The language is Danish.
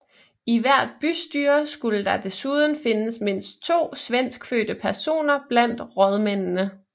I hvert bystyre skulle der desuden findes mindst to svenskfødte personer blandt rådmændene